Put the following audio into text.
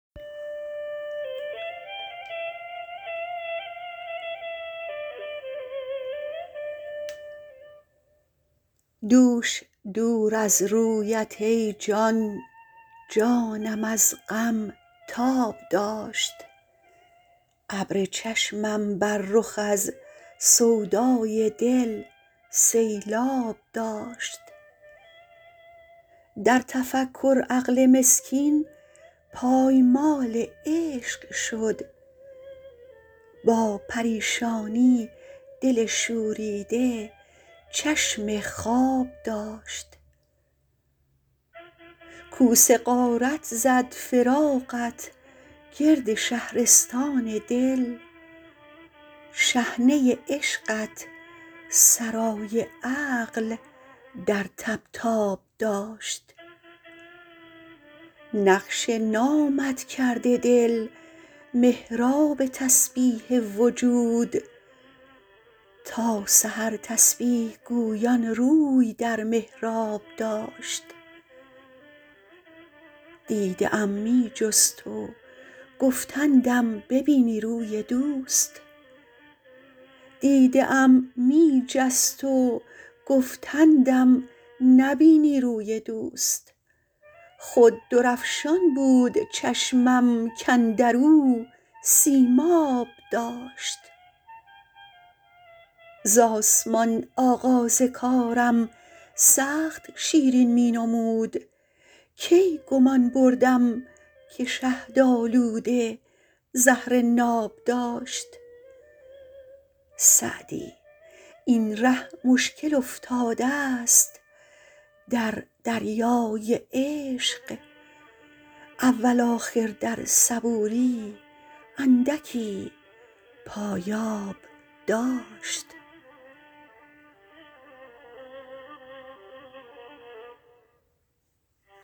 دوش دور از رویت ای جان جانم از غم تاب داشت ابر چشمم بر رخ از سودای دل سیلآب داشت در تفکر عقل مسکین پایمال عشق شد با پریشانی دل شوریده چشم خواب داشت کوس غارت زد فراقت گرد شهرستان دل شحنه عشقت سرای عقل در طبطاب داشت نقش نامت کرده دل محراب تسبیح وجود تا سحر تسبیح گویان روی در محراب داشت دیده ام می جست و گفتندم نبینی روی دوست خود درفشان بود چشمم کاندر او سیماب داشت ز آسمان آغاز کارم سخت شیرین می نمود کی گمان بردم که شهدآلوده زهر ناب داشت سعدی این ره مشکل افتادست در دریای عشق اول آخر در صبوری اندکی پایاب داشت